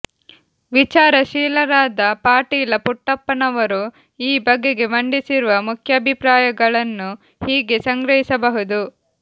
ವಿಚಾರಶೀಲರಾದ ಪಾಟೀಲ ಪುಟ್ಟಪ್ಪನವರು ಈ ಬಗೆಗೆ ಮಂಡಿಸಿರುವ ಮುಖ್ಯಾಭಿಪ್ರಾಯ ಗಳನ್ನು ಹೀಗೆ ಸಂಗ್ರಹಿಸಬಹುದು